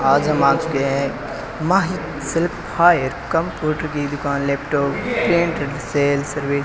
आज हम आ चुके है माही शेल्फ हायर कंप्यूटर की दुकान लैपटॉप सेल सर्विस ।